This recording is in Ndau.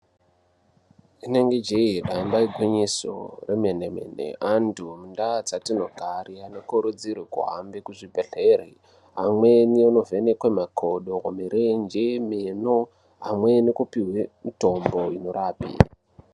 Rinenge jeyi, damba igwinyiso remene mene antu mundawo dzatinogara anokurudzirwa aende kuzvibhedleri amweni anovhenekwe makodo ,mirenje ,meno amweni kupiwe mitombo inorapa.